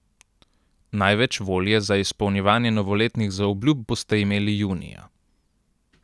Največ volje za izpolnjevanje novoletnih zaobljub boste imeli junija.